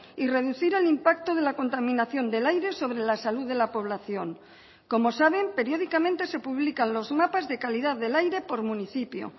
y reducir el impacto de la contaminación del aire sobre la salud de la población como saben periódicamente se publican los mapas de calidad del aire por municipio